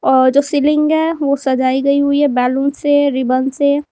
और जो सीलिंग है वो सजाई गई हुई है बैलून से रिबन से।